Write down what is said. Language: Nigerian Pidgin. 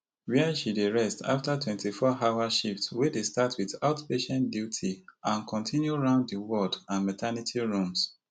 wia she dey rest afta twenty-fourhour shift wey dey start wit outpatient duty and continue round di ward and maternity rooms